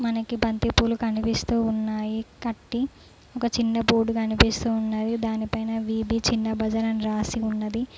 మనకి బంతిపూలు కనిపిస్తూ ఉన్నాయి కట్టి ఒక చిన్న బోర్డు కనిపిస్తూ ఉన్నది దానిపైన వి_బీ చిన్న బజారు అని రాసి ఉన్నది.